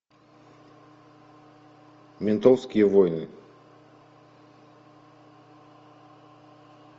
ментовские войны